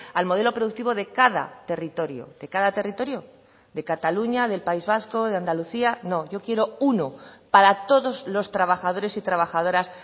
al modelo productivo de cada territorio de cada territorio de cataluña del país vasco de andalucía no yo quiero uno para todos los trabajadores y trabajadoras